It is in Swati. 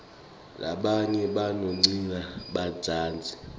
rabanye bacondzlsa badzazi